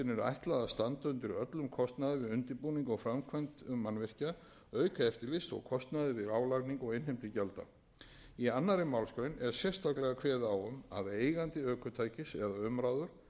ætlað að standa undir öllum kostnaði við undirbúning og framkvæmd mannvirkja auk eftirlits og kostnaðar við álagningu og innheimtu gjalda í annarri málsgrein er sérstaklega kveðið á um að eigandi ökutækis eða umráðamaður ef um kaupleigu er að ræða beri